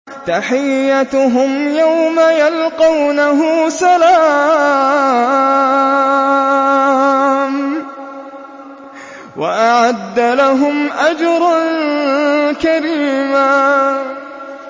تَحِيَّتُهُمْ يَوْمَ يَلْقَوْنَهُ سَلَامٌ ۚ وَأَعَدَّ لَهُمْ أَجْرًا كَرِيمًا